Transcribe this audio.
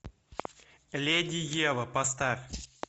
леди ева поставь